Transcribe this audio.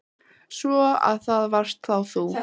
Svo. að það varst þá þú?